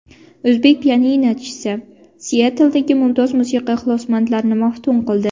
O‘zbek pianinochisi Sietldagi mumtoz musiqa ixlosmandlarini maftun qildi.